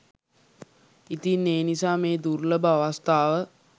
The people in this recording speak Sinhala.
ඉතින් ඒ නිසා මේ දුර්ලභ අවස්ථාව